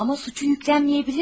Amma suçu yüklənməyə bilərdi.